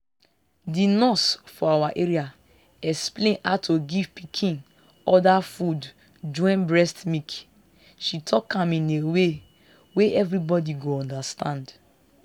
the nurse for our area explain how to give pikin other food join breast milk she talk am in a way wey everybody go understand.